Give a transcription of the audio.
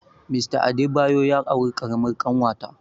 Mr Adebayo ya auri ƙaramar ƙanwata